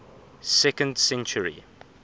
second century